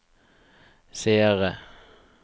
seere